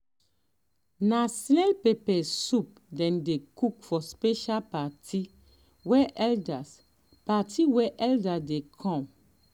na snail pepper soup dem dey cook for special party wey elders party wey elders dey come